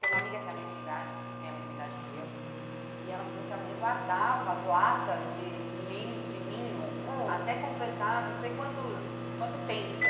Tem uma amiga que é a mesma idade, que tem a mesma idade que eu, e ela falou que a mãe guardava as latas de nin de ninho ãh até completar não sei quantos quanto tempo.